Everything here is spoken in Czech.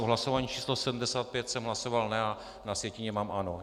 V hlasování číslo 75 jsem hlasoval ne, a na sjetině mám ano.